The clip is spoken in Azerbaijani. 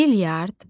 Bilyard.